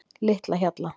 Litlahjalla